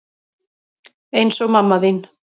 Eins og mamma þín.